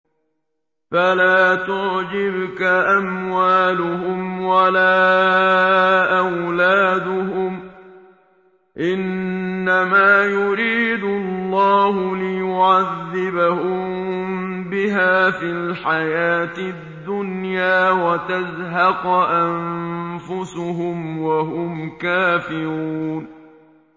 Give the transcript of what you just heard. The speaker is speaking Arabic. فَلَا تُعْجِبْكَ أَمْوَالُهُمْ وَلَا أَوْلَادُهُمْ ۚ إِنَّمَا يُرِيدُ اللَّهُ لِيُعَذِّبَهُم بِهَا فِي الْحَيَاةِ الدُّنْيَا وَتَزْهَقَ أَنفُسُهُمْ وَهُمْ كَافِرُونَ